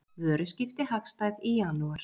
Vöruskipti hagstæð í janúar